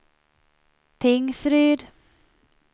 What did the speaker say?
Tingsryd